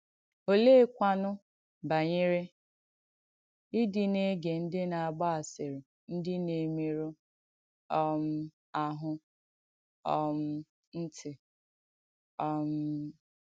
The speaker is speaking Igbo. Olèékwànụ̀ banyere ìdị̀ nà-ègé ndí nà-àgbà asìrì ndí nà-èmérụ̀ um àhụ́ um ǹtí? um